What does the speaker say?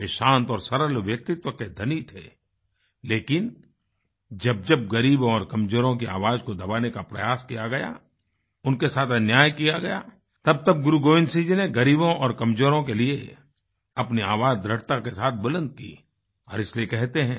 वे शांत और सरल व्यक्तित्व के धनी थे लेकिन जबजबग़रीबों और कमजोरों की आवाज़ को दबाने का प्रयास किया गया उनके साथ अन्याय किया गया तबतब गुरु गोबिन्द सिंह जी ने गरीबों और कमजोरों के लिए अपनी आवाज़ दृढ़ता के साथ बुलंद की और इसलिए कहते हैं